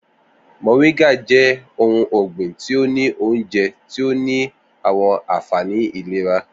Moringa jẹ̀ ò̩hùn ọgbin tí ó ní ọ̀únjẹ̀ tí ó ní awọn ànfàní ìlẹ̀rà.